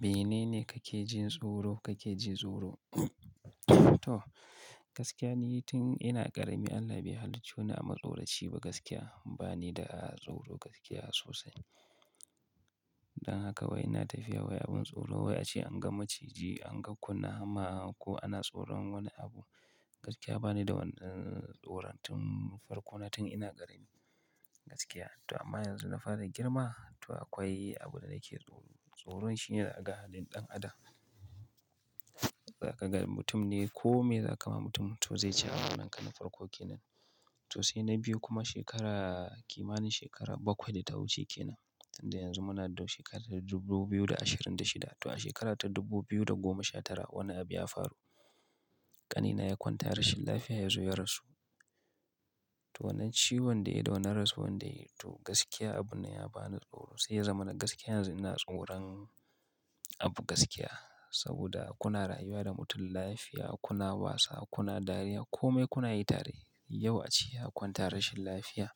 Menene kake jin tsoro, kake jin tsoro? To gaskiya ni tun ina ƙarami Allah bai halicce ni a matsoraci ba gaskiya bani da tsoro gaskiya sosai. Dan haka wai ina tafiya wai abin tsoro wai ace an ga maciji, an ga kunama ko ana tsoron wani abu. Gaskiya bani da wani tsoron tun farko na tun ina ƙarami gaskiya. To amma yanzu na fara girma to akwai abin da nake tsoro. Tsoron shine da na hadu da dan adam. Za ka ga mutum ne ko me za ka ma mutum to zai ci amanar ka na farko kenan. To sai na biyu kuma shekara kimanin shekara bakwai da ta wuce kenan. Inda yanzu muna da shekarar 2026 to a shekara ta 2019 wani abu ya faru. Kanina ya kwanta rashin lafiya yanzu ya rasu. To wannan ciwon dai da wannan rasuwa dai to gaskiya abun nan ya bani da tsoro. Sai ya zama na gaskiya yanzu ina tsoron abu gaskiya. Saboda kuna rayuwa da mutum lafiya, kuna wasa, kuna dariya kome kuna yi tare yau ace ya kwanta rashin lafiya.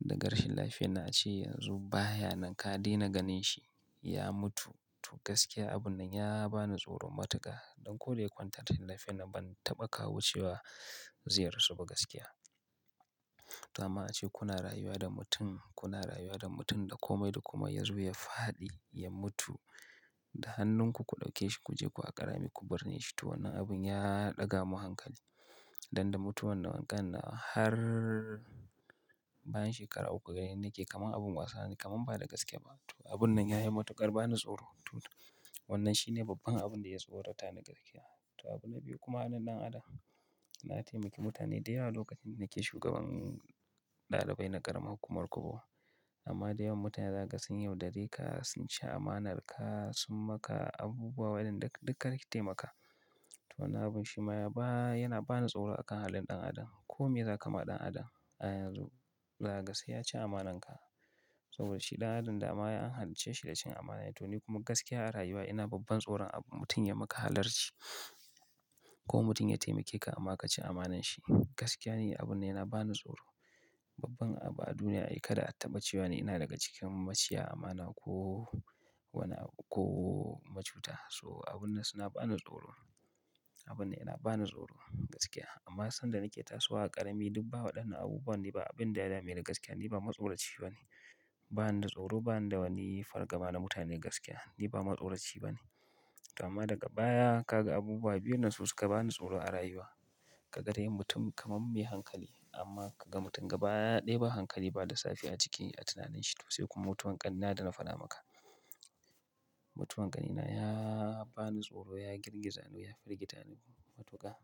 Daga rashin lafiya na ace yanzu baya nan ka daina ganin shi ya mutu. To gaskiya abun nan ya bani tsoron matuƙa. Don ko da ya kwantar rashin lafiya na ban taɓa kawo cewa zai rasu ba gaskiya. To amma ace kuna rayuwa da mutum, kuna rayuwa da mutum da kome da kuma yazo ya faɗi ya mutu. Da hannunku ku ɗauke shi ku je ku a ƙarami ku binne shi. To wannan abun ya ɗaga mun hankali. Dan da mutuwar nan wankan nan har bayan shekara uku gareni nake kaman abin wasa ne kaman ba da gaske ba. To abun nan ya yi matuƙar bani tsoro. To wannan shine babban abin da ya tsorata ni gaskiya. To abun na biyu kuma halin dan adam. Na taimaki mutane da yawa lokacin da nake shugaban ɗalibai na ƙaramar hukumar Kubuwa. Amma da yawan mutane zaka ga sun yau dare ka, sun ci amanar ka, sun maka abubuwa waɗanda duka da kake taimaka. To wannan abun shi ma ya ba yana bani tsoro a kan halin dan adam. Ko me zaka kama dan adam a yanzu zaka ga sai ya ci amanar ka. Saboda shi dan adam dama an halicce shi da cin amana. To ni kuma gaskiya a rayuwa ina babban tsoron abu mutum ya maka halarci. Ko mutum ya taimake ka amma ka ci amanar shi. Gaskiya ne abun nan yana bani tsoro. Babban abu a duniya ai kada a taɓa cewa ne ina daga cikin maciya amana ko wani abu ko macuta. So abun nan su na bani tsoro. Abun nan yana bani tsoro gaskiya. Amma sanda nake tasowa a ƙarami duk ba waɗannan abubuwa ne ba abin da ya da meni gaskiya ni ba matsoraci ba ne. Ba ni da tsoro ba ni da wani fargaba na mutane gaskiya ni ba matsauraci ba ne. To amma daga baya ka ga abubuwa biyun nan su suka bani tsoro a rayuwa. Ka ga dai mutum kamar me hankali amma ka ga mutum gaba ɗaya ba hankali ba lissafi a ciki a tunanin shi to sai kuma mutuwan. Ƙanina da na faɗa maka. Mutuwar ƙanina ya bani tsoro ya girgiza ni ya firgita ni matuƙa.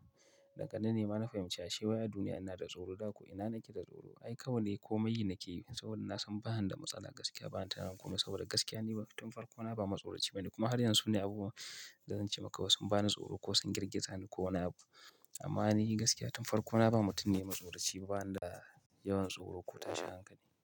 Da ga nan ne ma na fahimci a she wai a duniya ina da tsoro da ko ina nake da tsoro ai kawai ne kome yi nake yi saboda na san ba zan da matsala gaskiya ba. Na tuna kuma saboda gaskiya ne tun farko na ba matsauraci ba ne. Kuma har yanzu ne abubuwan da zan ce maka wasu sun bani tsoro ko sun girgiza ni ko wani abu. Amma ni gaskiya tun farko na ba mutum ne matsauraci ba na da yawan tsoro ko tashin hankali.